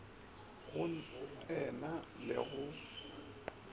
go e na le go